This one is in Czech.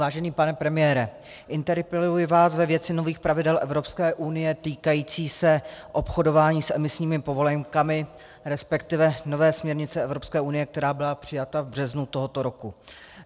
Vážený pane premiére, interpeluji vás ve věci nových pravidel Evropské unie týkající se obchodování s emisními povolenkami, respektive nové směrnice Evropské unie, která byla přijata v březnu tohoto roku.